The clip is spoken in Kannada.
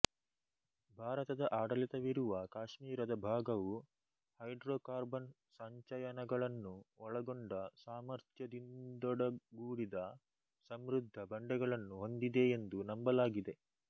ಭಾರತದಆಡಳಿತವಿರುವ ಕಾಶ್ಮೀರದ ಭಾಗವು ಹೈಡ್ರೋಕಾರ್ಬನ್ ಸಂಚಯನಗಳನ್ನು ಒಳಗೊಂಡ ಸಾಮರ್ಥ್ಯದಿಂದೊಡಗೂಡಿದ ಸಮೃದ್ಧ ಬಂಡೆಗಳನ್ನು ಹೊಂದಿದೆ ಎಂದು ನಂಬಲಾಗಿದೆ